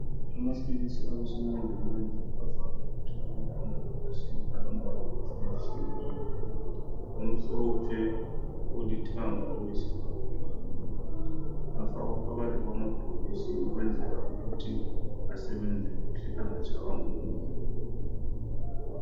Amaphilisi awesimanje manje avame ukutholakala emabhokisini alombala etshiye tshiyeneyo, omhlophe, olithanga loyisibhakabhaka afakwa phakathi kwama bhokisi ukwenzela ukuthi asebenze kuhle angatshaywa ngumoya.